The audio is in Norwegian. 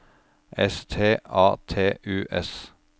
S T A T U S